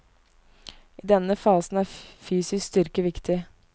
I denne fasen er fysisk styrke viktig.